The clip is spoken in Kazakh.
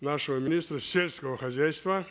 нашего министра сельского хозяйства